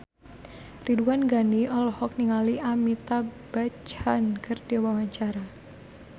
Ridwan Ghani olohok ningali Amitabh Bachchan keur diwawancara